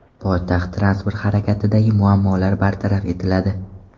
Poytaxt transport harakatidagi muammolar bartaraf etiladi.